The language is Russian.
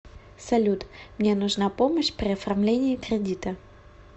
салют мне нужна помощь при оформлении кредита